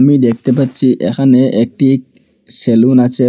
দ্যাখতে পাচ্চি এখানে একটি সেলুন আছে।